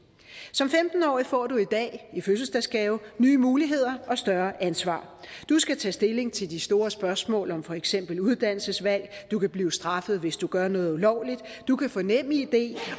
som femten årig får du i dag i fødselsdagsgave nye muligheder og større ansvar du skal tage stilling til de store spørgsmål om for eksempel uddannelsesvalg du kan blive straffet hvis du gør noget ulovligt du kan få nemid